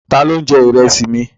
Ta ló ń jẹ Ìrẹ́sì mi?